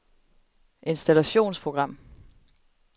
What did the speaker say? installationsprogram